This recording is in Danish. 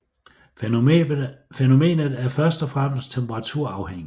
Fænomenet er først og fremmest temperaturafhængigt